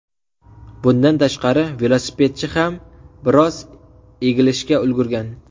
Bundan tashqari, velosipedchi ham biroz egilishga ulgurgan.